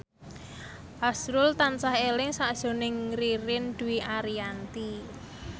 azrul tansah eling sakjroning Ririn Dwi Ariyanti